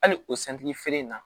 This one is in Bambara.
Hali o feere in na